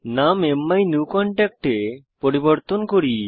নাম মাইনিউকনট্যাক্ট এ পরিবর্তন করি